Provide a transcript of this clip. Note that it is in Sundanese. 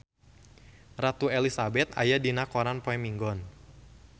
Ratu Elizabeth aya dina koran poe Minggon